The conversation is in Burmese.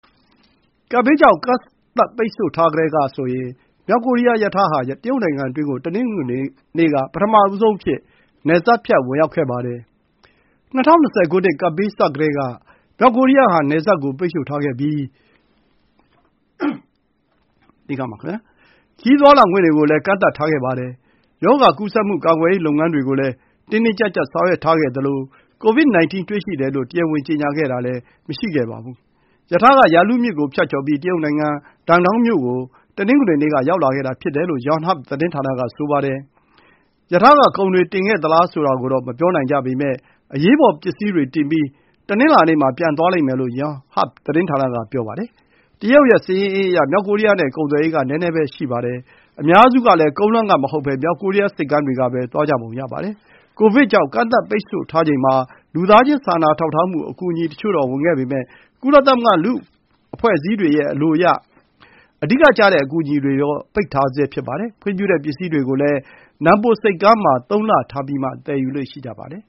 ကပ်ဘေးကြောင့် ကန့်သတ် ပိတ်ဆို့ထားကတည်းကဆိုရင် မြောက်ကိုရီးယား ရထားဟာ တရုတ်နိုင်ငံအတွင်းကို တနင်္ဂနွေနေ့က ပထမဆုံးအဖြစ် နယ်စပ်ဖြတ် ဝင်ရောက်ခဲ့ပါတယ်။ ၂၀၂၀ ခုနှစ် ကပ်ဘေးစကတည်းက မြောက်ကိုရီးယားဟာ နယ်စပ်ကို ပိတ်ဆို့ထားခဲ့ပြီး ပြည်တွင်း ခရီးသွားလာခွင့်တွေကိုလည်း ကန့်သတ်ထားခဲ့ပါတယ်။ ရောဂါကူးစက်မှု ကာကွယ်ရေး လုပ်ငန်းတွေကိုလည်း တင်းတင်းကျပ်ကျပ် ဆောင်ရွက်ထားခဲ့သလို COVID-19 တွေ့ရှိတယ်လို့ တရားဝင် ကြေညာခဲ့တာလည်း မရှိခဲ့ပါဘူး။ ရထားက ယာလုမြစ်ကို ဖြတ်ကျော်ပြီး တရုတ်နိုင်ငံ Dandong မြို့ကို တနင်္ဂနွေနေ့က ရောက်လာခဲ့တာဖြစ်တယ်လို့ Yonhap သတင်းဌာနက ဆိုပါတယ်။ ရထားက ကုန်တွေတင်ခဲ့သလား ဆိုတာကိုတော့ မပြောနိုင်ကြပေမယ့် အရေးပေါ် ပစ္စည်းတွေတင်ပြီး တနင်္လာနေ့မှာ ပြန်သွားလိမ့်မယ်လို့ Yonhap သတင်းဌာနက ပြောပါတယ်။ တရုတ်ရဲ့ စာရင်းအင်းအရ မြောက်ကိုရီးယားနဲ့ ကုန်သွယ်ရေးက နည်းနည်းပဲ ရှိပါတယ်။ အများစုကလည်း ကုန်းလမ်းက မဟုတ်ဘဲ မြောက်ကိုရီးယား ဆိပ်ကမ်းတွေကပဲ သွားကြပုံရပါတယ်။ ကိုဗစ်ကြောင့် ကန့်သတ်ပိတ်ဆို့ထားချိန်မှာ လူသားချင်း စာနာထောက်ထားမှု အကူအညီတချို့တော့ ဝင်ခဲ့ပေမယ့် ကုလသမဂ္ဂ အဖွဲ့အစည်းတွေရဲ့ အလိုအရ အဓိကကျတဲ့ အကူအညီတွေကိုတော့ ပိတ်ဆို့ထားဆဲ ဖြစ်ပါတယ်။ ခွင့်ပြုတဲ့ ပစ္စည်းတွေကိုလည်း နမ်ပိုဆိပ်ကမ်းမှာ ၃ လထားပြီးမှ သယ်ယူလေ့ရှိပါတယ်